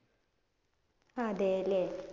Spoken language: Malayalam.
അതേ അല്ലേ.